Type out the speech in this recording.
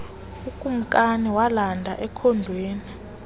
ukumkani walanda ekhondweni